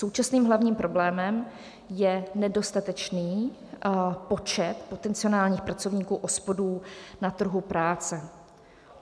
Současným hlavním problémem je nedostatečný počet potenciálních pracovníků OSPOD na trhu práce.